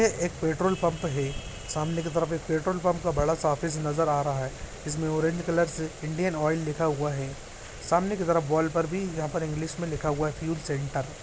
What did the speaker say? यह एक petrol pump है। सामने की तरफ एक पेट्रोल पंप का बड़ा सा ऑफिस नजर आ रहा है जिसमें ऑरेंज कलर से इंडियन ऑयल लिखा हुआ है। सामने की तरफ वॉल पर भी यहाँ पर इंग्लिश में लिखा फ्यूल सेंटर ।